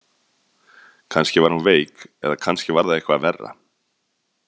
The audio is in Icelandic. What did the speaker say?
Kannski var hún veik eða kannski var það eitthvað verra.